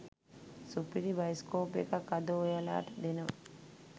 සුපිරි බයිස්කෝප් එකක් අද ඔයාලට දෙනවා.